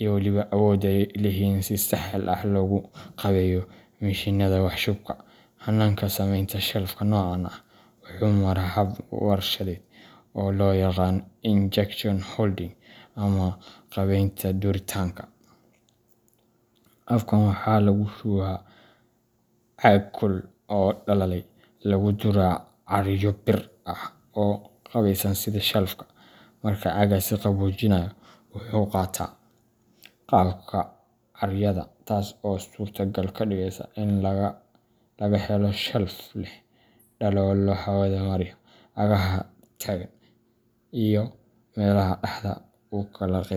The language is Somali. iyo weliba awoodda ay u leeyihiin in si sahal ah loogu qaabeeyo mishiinnada wax shubka. Hannaanka samaynta shelfka noocan ah wuxuu maraa hab warshadeed oo loo yaqaan injection molding ama qaabaynta duritaanka. Habkan waxaa lagu shubaa caag kulul oo dhalaalay oo lagu duraa caaryo bir ah oo u qaabeysan sida shelfka. Marka caaggaasi qaboojiyo, wuxuu qaataa qaabka caaryada, taas oo suurtagal ka dhigeysa in la helo shelfka leh daloolo hawada mariya, cagaha taagan, iyo meelaha dhaxda u kala qeyb.